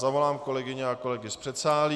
Zavolám kolegyně a kolegy z předsálí.